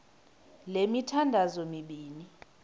le mithandazo mibini